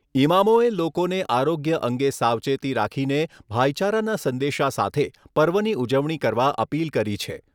ઇમામોએ લોકોને આરોગ્ય અંગે સાવચેતી રાખીને ભાઈચારાના સંદેશા સાથે પર્વની ઉજવણી કરવા અપીલ કરી છે.